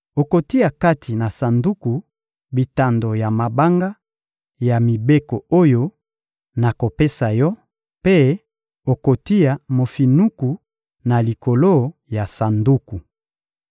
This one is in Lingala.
Okotia kati na sanduku, bitando ya mabanga ya mibeko oyo nakopesa yo mpe okotia mofinuku na likolo ya sanduku.